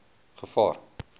gevaar